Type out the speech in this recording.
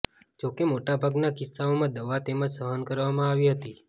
જોકે મોટા ભાગના કિસ્સાઓમાં દવા તેમજ સહન કરવામાં આવી હતી